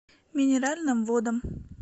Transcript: минеральным водам